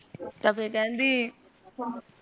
ਅਛਾ ਫੇਰ ਕੇਹਂਦੀ